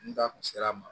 N da kun sera a ma